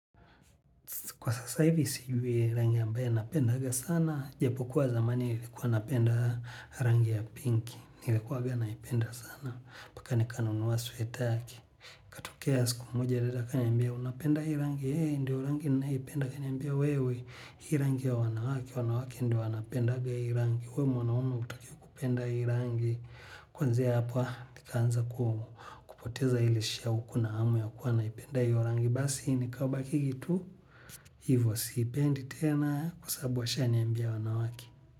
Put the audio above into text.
Kwa sasa hivi sijui rangi ambaye napendanga sana. Japo kuwa zamani nilikuwa napenda rangi ya pinki. Nikuanga naipenda sana paka nikana nunua sweater yake. Tokea siku moja dada akaniambia unapenda hii rangi. Ee hii ndio rangi nanyoipenda akaniambia wewe. Hii rangi ya wanawake. Wanawake ndio wanapendanga hii rangi. We mwanaume hutakiwi kupenda hii rangi. Kwanzia hapa nikaanza kupoteza ilishia kuwa na hamu ya kuwa naipenda hio rangi. Basi ni kabakingi tu. Hivo siipendi tena kwa sababu ashaniambia ni ya wanawake.